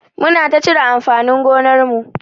Muna ta cire amfanin gonar mu.